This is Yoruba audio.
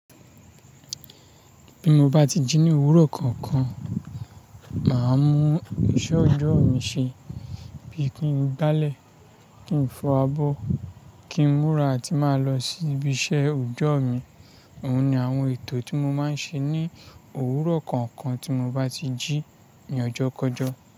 Bí mo bá ti jí ní owúrò kankan, màá mú iṣẹ́ ọjọ́ mi ṣẹ, bí i kí n gbálẹ̀, kí n fọ abọ́, kí n múra, à ti màá lọ sí ibi iṣẹ́ ọjọ́ mi. Òun ni àwọn ètò tí mo máa ń ṣe ní owúrò kankan tí mo bá ti jí ní ọjọ́ kọjọ.